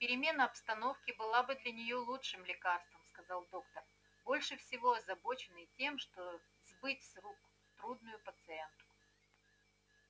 перемена обстановки была бы для нее лучшим лекарством сказал доктор больше всего озабоченный тем чтобы сбыть с рук трудную пациентку